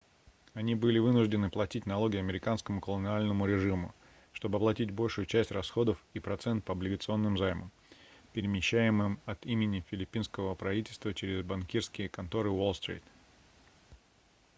они были вынуждены платить налоги американскому колониальному режиму чтобы оплатить большую часть расходов и процент по облигационным займам перемещаемым от имени филиппинского правительства через банкирские конторы уолл-стрит